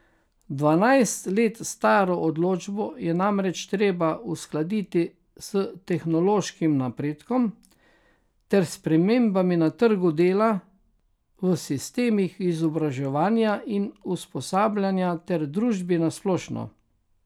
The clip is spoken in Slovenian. Dvanajst let staro odločbo je namreč treba uskladiti s tehnološkim napredkom ter spremembami na trgu dela, v sistemih izobraževanja in usposabljanja ter družbi na splošno.